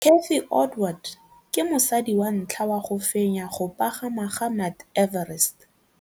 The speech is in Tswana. Cathy Odowd ke mosadi wa ntlha wa go fenya go pagama ga Mt Everest.